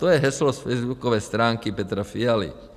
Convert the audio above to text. To je heslo z facebookové stránky Petra Fialy.